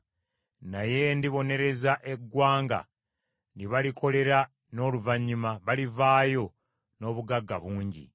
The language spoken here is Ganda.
Naye ndibonereza eggwanga lye balikolera n’oluvannyuma balivaayo n’obugagga bungi.